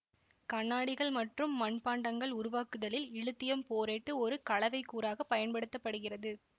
கண்ணாடிகள் மற்றும் மண்பாண்டங்கள் உருவாக்குதலில் இலித்தியம் போரேட்டு ஒரு கலவைக்கூறாக பயன்படுத்த படுகிறது